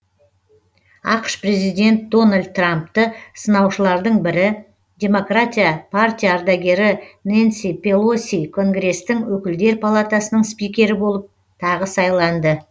ақш та президент дональд трампты сынаушылардың бірі демократиялық партия ардагері нэнси пелоси конгрестің өкілдер палатасының спикері болып тағы сайланды